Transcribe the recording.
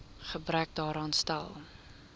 gebrek daaraan stel